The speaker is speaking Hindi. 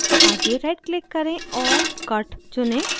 आगे right click करें और cut चुनें